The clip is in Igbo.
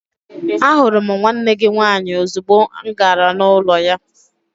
Ahụrụ m nwanne gị nwaanyị ozugbo agara m n'ụlọ ya.